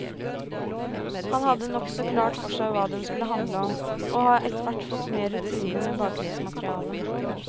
Han hadde nokså klart for seg hva den skulle handle om, og har etterhvert fått mer rutine med bakgrunnsmaterialet.